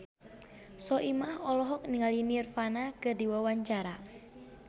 Soimah olohok ningali Nirvana keur diwawancara